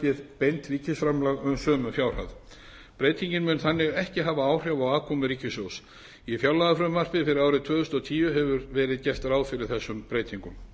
lækki beint ríkisframlag um sömu fjárhæð breytingin mun þannig ekki hafa áhrif á afkomu ríkissjóðs í fjárlagafrumvarpi fyrir árið tvö þúsund og tíu hefur verið gert ráð fyrir þessum breytingum